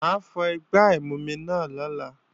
Mà á fọ igbá ìmumi náà lọ́la